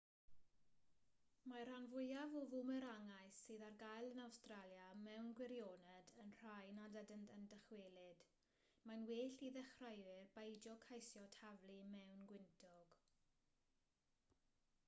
mae'r rhan fwyaf o fwmerangau sydd ar gael yn awstralia mewn gwirioned yn rhai nad ydynt yn dychwelyd mae'n well i ddechreuwyr beidio ceisio taflu mewn gwyntog